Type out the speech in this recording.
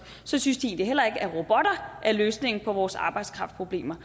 synes de heller ikke at robotter er løsningen på vores arbejdskraftproblemer